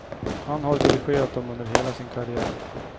Han har dirigerat dem under hela sin karriär.